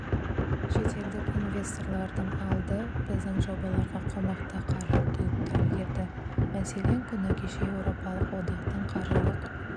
шетелдік инвесторлардың алды біздің жобаларға қомақты қаржы құйып та үлгерді мәселен күні кеше еуропалық одақтың қаржылық